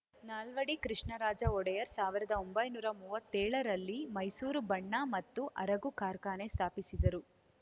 ನಾಲ್ವಡಿ ಕೃಷ್ಣರಾಜ ಒಡೆಯರ್ ಸಾವಿರದೊಂಬೈನೂರಾ ಮೂವತ್ತೇಳ ರಲ್ಲಿ ಮೈಸೂರು ಬಣ್ಣ ಮತ್ತು ಅರಗು ಕಾರ್ಖಾನೆ ಸ್ಫಾಪಿಸಿದರು